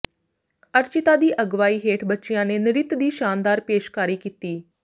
ਅਰਚਿਤਾ ਦੀ ਅਗਵਾਈ ਹੇਠ ਬੱਚਿਆਂ ਨੇ ਨ੍ਰਿਤ ਦੀ ਸ਼ਾਨਦਾਰ ਪੇਸ਼ਕਾਰੀ ਕੀਤੀ